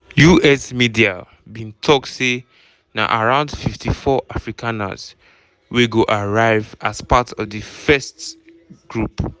us media bin tok say na around 54 afrikaners wey go arrive as part of di first group.